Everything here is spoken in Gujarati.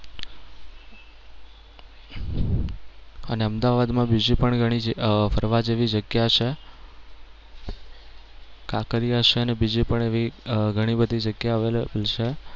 અને અમદાવાદ માં બીજી પણ ઘણી જ અમ ફરવા જેવી જગ્યા છે. કાંકરિયા છે અને અમ બીજી પણ એવી ઘણી બધી જગ્યા available છે.